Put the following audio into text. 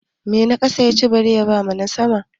Mai na ƙasa ya ci bare ya ba na sama?